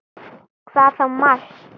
Hvað þá Mars!